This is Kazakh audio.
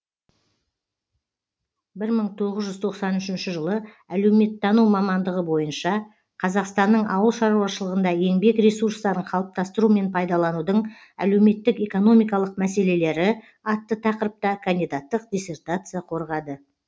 бір мың тоғыз жүз тоқсан үшінші жылы әлеуметтану мамандығы бойынша қазақстанның ауыл шаруашылығында еңбек ресурстарын қалыптастыру мен пайдаланудың әлеуметтік экономикалық мәселелері атты тақырыпта кандидаттық диссертация қорғады